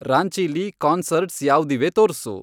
ರಾಂಚೀಲಿ concerts ಯಾವ್ದಿವೆ ತೋರ್ಸು